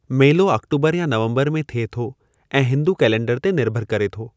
मेलो आक्टोबरु या नवम्बरु में थिए थो ऐं हिंदू कैलेंडर ते निर्भरु करे थो।